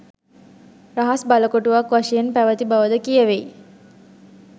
රහස් බලකොටුවක් වශයෙන් පැවැති බව ද කියැවෙයි.